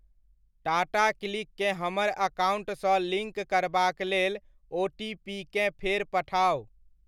टाटाक्लिक केँ हमर अकाउण्टसँ लिङ्क करबाक लेल ओटीपीकेँ फेर पठाउ।